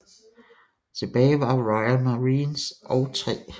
Tilbage var Royal Marines og 3